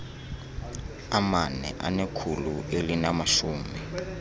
amane anekhulu elinamashumi